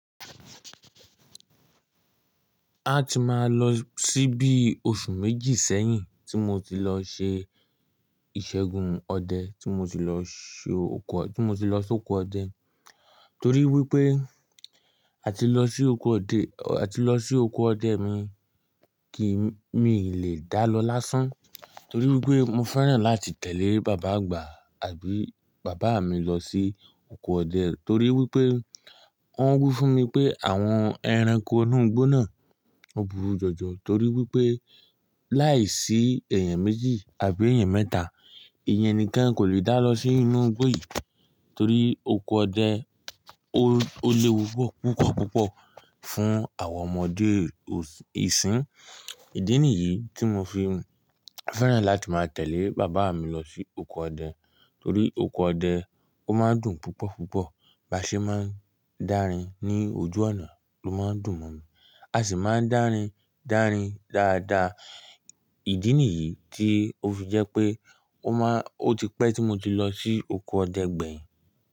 A ti máa lọ síbí oṣù méjì sẹ́yìn tí mo ti lọ ṣe ìṣẹ́gun ọdẹ, tí mo ti lọ ṣoko ọ, tí mo ti lọ sóko ọdẹ. Torí wí pé ati a ti lọ sí oko ọdẹ mi kì í mii lè dá lọ lásán. Torí wí pé mo fẹ́ràn láti tẹ̀lé bàbá àgbà àbí bàbá mi lọ sí oko ọdẹ, torí wí pé wọ́n wí fún mi pé àwọn ẹranko inú igbó náà ọ burú jọjọ. Torí wí pé láìsí èèyàn méjì àbí èèyàn mẹ́ta, èèyàn nìkan kò lè dá lọ sí inú igbó yìí. Torí oko ọdẹ ó lewu pupọ̀ pupọ̀ púpọ̀ fún àwọn ọmọdé ìsín. Ìdí nìyí tí mo fi fẹ́ràn láti máa tẹ̀lé bàbá mi lọ sí oko ọdẹ. Torí oko ọdẹ ó máa ń dùn púpọ̀ púpọ̀ bá ṣe máa ń dárin ní ojú ọ̀nà ló máa ń dùn mọ́ mi. A sì máa ń dárin dáadáa. Ìdí nìyí tí ó fi jẹ́ pé o maan, ó ti pẹ́ tí mo ti lọ sí oko ọdẹ gbẹ̀yìn.